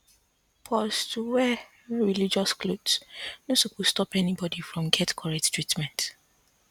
to wear religious cloth no suppose stop anybody from get correct treatment